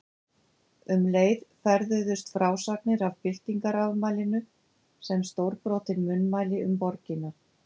Um leið ferðuðust frásagnir af byltingarafmælinu sem stórbrotin munnmæli um borgina.